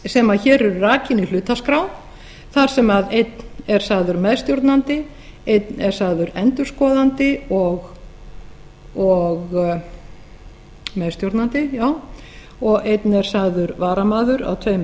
sem hér eru rakin í hlutaskrá þar sem einn er sagður meðstjórnandi einn er sagður endurskoðandi og meðstjórnandi og einn er sagður varamaður á tveimur